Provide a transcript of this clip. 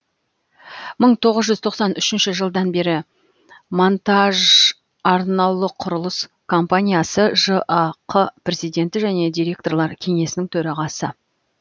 мың тоғыз жүз тоқсан үшінші жылдан бері монтажарнаулықұрылыс компаниясы жақ президенті және директорлар кеңесінің төрағасы